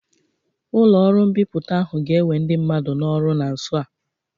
Ụlọ ọrụ mbipụta ahu ga-ewe ndị mmadụ n'ọrụ na nso a.